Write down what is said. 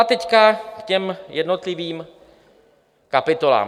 A teď k těm jednotlivým kapitolám.